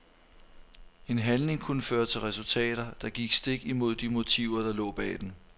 En handling kunne føre til resultater, der gik stik imod de motiver der lå bag den.